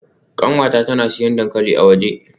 Kanwata tana siyan dankali a waje.